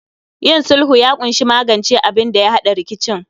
Yin sulhu ya kunshi magance abinda ya hada rikicin